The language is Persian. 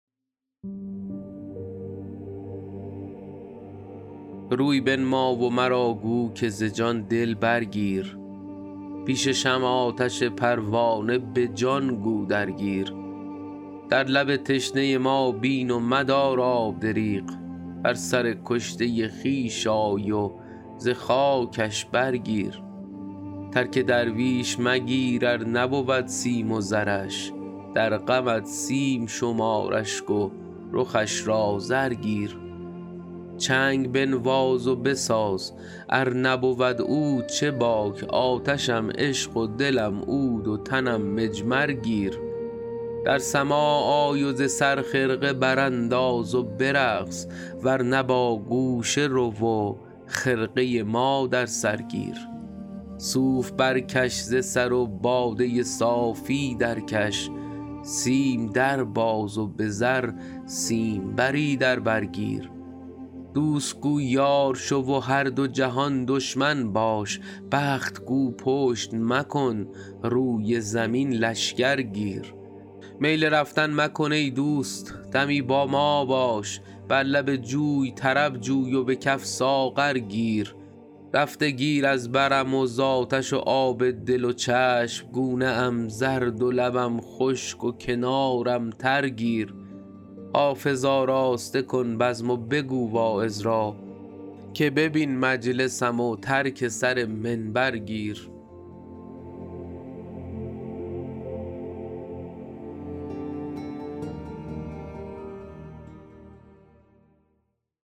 روی بنما و مرا گو که ز جان دل برگیر پیش شمع آتش پروانه به جان گو درگیر در لب تشنه ما بین و مدار آب دریغ بر سر کشته خویش آی و ز خاکش برگیر ترک درویش مگیر ار نبود سیم و زرش در غمت سیم شمار اشک و رخش را زر گیر چنگ بنواز و بساز ار نبود عود چه باک آتشم عشق و دلم عود و تنم مجمر گیر در سماع آی و ز سر خرقه برانداز و برقص ور نه با گوشه رو و خرقه ما در سر گیر صوف برکش ز سر و باده صافی درکش سیم در باز و به زر سیمبری در بر گیر دوست گو یار شو و هر دو جهان دشمن باش بخت گو پشت مکن روی زمین لشکر گیر میل رفتن مکن ای دوست دمی با ما باش بر لب جوی طرب جوی و به کف ساغر گیر رفته گیر از برم و زآتش و آب دل و چشم گونه ام زرد و لبم خشک و کنارم تر گیر حافظ آراسته کن بزم و بگو واعظ را که ببین مجلسم و ترک سر منبر گیر